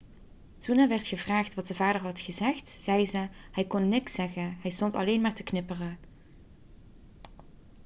toen er werd gevraagd wat de vader had gezegd zei ze: 'hij kon niks zeggen. hij stond alleen maar te knipperen.'